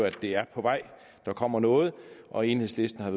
at det er på vej der kommer noget og enhedslisten har